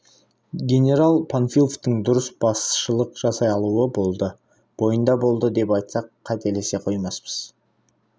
генерал панфиловтың дұрыс басшылық жасай алуы болды бойында болды деп айтсақ қателесе қоймаспыз